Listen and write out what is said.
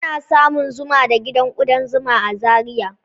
Ana samun zuma da gidan kudan zuma a Zariya